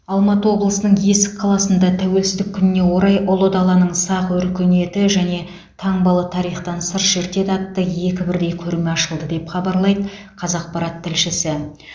алматы облысының есік қаласында тәуелсіздік күніне орай ұлы даланың сақ өркениеті және таңбалы тарихтан сыр шертеді атты екі бірдей көрме ашылды деп хабарлайды қазақпарат тілшісі